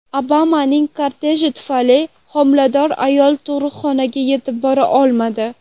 Obamaning korteji tufayli homilador ayol tug‘ruqxonaga yetib bora olmadi.